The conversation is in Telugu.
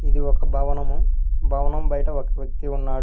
ఇది ఒక భవనము భవనం బయట ఒక వ్యక్తి ఉన్నాడు.